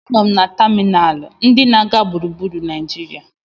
A nọ m na tamịnalụ ndị na-aga gburugburu Naijiria.